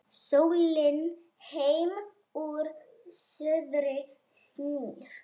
Sólin heim úr suðri snýr